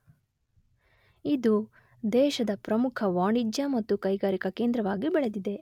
ಇದು ದೇಶದ ಪ್ರಮುಖ ವಾಣಿಜ್ಯ ಮತ್ತು ಕೈಗಾರಿಕ ಕೇಂದ್ರವಾಗಿ ಬೆಳೆದಿದೆ.